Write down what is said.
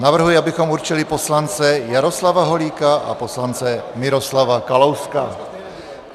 Navrhuji, abychom určili poslance Jaroslava Holíka a poslance Miroslava Kalouska.